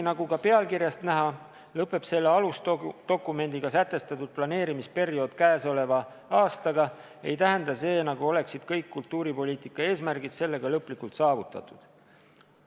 " Nagu ka pealkirjast näha, lõpeb selle alusdokumendiga sätestatud planeerimisperiood käesoleva aastaga, aga see ei tähenda, nagu oleksid kõik kultuuripoliitika eesmärgid sellega lõplikult saavutatud.